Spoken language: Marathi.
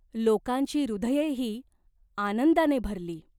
लोकांची हृदयेही आनंदाने भरली.